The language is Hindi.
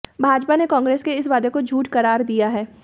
भाजपा ने कांग्रेस के इस वादे को झूठ करार दिया है